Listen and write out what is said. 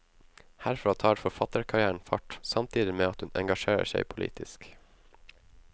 Herfra tar forfatterkarrieren fart, samtidig med at hun engasjerer seg politisk.